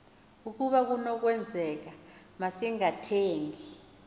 ukaba kunokwenzeka masingathengi